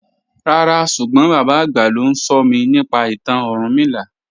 Ràrá súgbọ́n bàbá agbá ló nsọ̀mí nípa ìtàn Orúnmìlà.